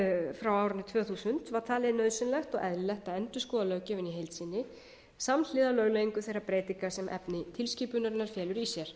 frá árinu tvö þúsund var talið nauðsynlegt og eðlilegt að endurskoða löggjöfina í heild sinni samhliða lögleiðingu þeirra breytinga sem efni tilskipunarinnar felur í sér